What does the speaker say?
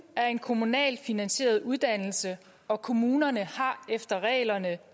er en kommunalt finansieret uddannelse og kommunerne har efter reglerne